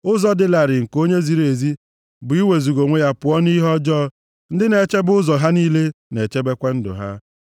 Ụzọ dị larịị nke onye ziri ezi bụ iwezuga onwe ya pụọ nʼihe ọjọọ, ndị na-echebe ụzọ ha niile na-echebekwa ndụ ha.